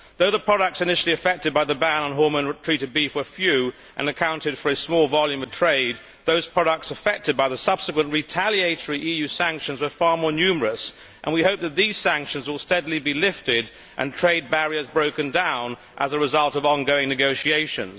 Though the products initially affected by the ban on hormone treated beef were few and accounted for a small volume of trade, those products affected by the subsequent retaliatory EU sanctions were far more numerous, and we hope that these sanctions will steadily be lifted and trade barriers broken down as a result of ongoing negotiations.